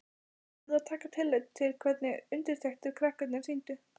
Þeir urðu að taka tillit til hvernig undirtektir krakkarnir sýndu.